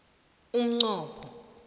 umnqopho